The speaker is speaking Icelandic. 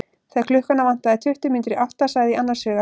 Þegar klukkuna vantaði tuttugu mínútur í átta sagði ég annars hugar.